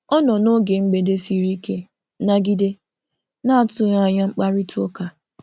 Ọ nọ noge mgbede siri ike nagide na atụghị anya mkparịtaụka.